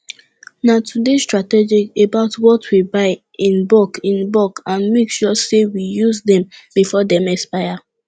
na to dey strategic about what we buy in bulk in bulk and make sure say we use dem before dem expire